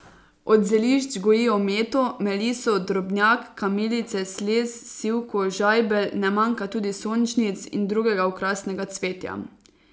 Od zelišč gojijo meto, meliso, drobnjak, kamilice, slez, sivko, žajbelj, ne manjka tudi sončnic in drugega okrasnega cvetja.